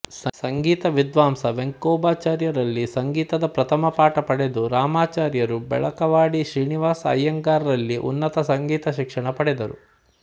ಸಂಗೀತ ವಿದ್ವಾಂಸ ವೆಂಕೋಬಾಚಾರ್ಯರಲ್ಲಿ ಸಂಗೀತದ ಪ್ರಥಮ ಪಾಠ ಪಡೆದ ರಾಮಾಚಾರ್ಯರು ಬೆಳಕವಾಡಿ ಶ್ರೀನಿವಾಸ ಅಯ್ಯಂಗಾರ್ಯರಲ್ಲಿ ಉನ್ನತ ಸಂಗೀತ ಶಿಕ್ಷಣ ಪಡೆದರು